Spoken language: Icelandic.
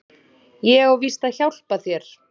Ég á víst að hjálpa þér.